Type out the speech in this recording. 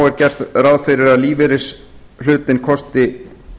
er gert ráð fyrir að lífeyrishlutinn kosti